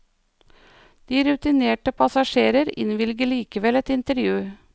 Den rutinerte passasjer innvilger likevel et intervju.